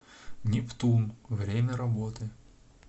нептун время работы